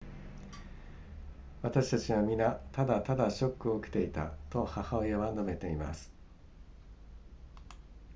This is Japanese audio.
私たちは皆ただただショックを受けていたと母親は述べています